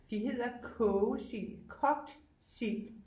De hedder kogesild kogt sild